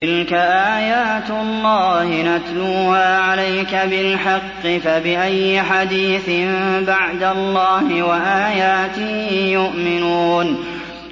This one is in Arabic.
تِلْكَ آيَاتُ اللَّهِ نَتْلُوهَا عَلَيْكَ بِالْحَقِّ ۖ فَبِأَيِّ حَدِيثٍ بَعْدَ اللَّهِ وَآيَاتِهِ يُؤْمِنُونَ